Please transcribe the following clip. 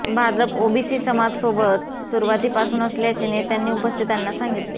Bhajap OBC समाजसोबत सुरवाती पासून असल्याचे नेत्यांनी उपस्थितांना सांगितले